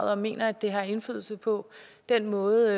og mener at det har indflydelse på den måde